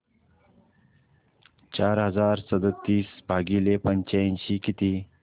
चार हजार सदतीस भागिले पंच्याऐंशी किती